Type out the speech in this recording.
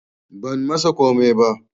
Ban masa komai ba